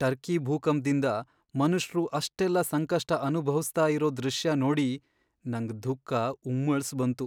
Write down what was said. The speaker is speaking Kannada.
ಟರ್ಕಿ ಭೂಕಂಪ್ದಿಂದ ಮನುಷ್ರು ಅಷ್ಟೆಲ್ಲ ಸಂಕಷ್ಟ ಅನುಭವ್ಸ್ತಾ ಇರೋ ದೃಶ್ಯ ನೋಡಿ ನಂಗ್ ದುಃಖ ಉಮ್ಮಳ್ಸ್ಬಂತು.